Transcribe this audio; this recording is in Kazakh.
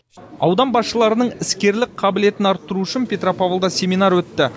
аудан басшыларының іскерлік қабілетін арттыру үшін петропавлда семинар өтті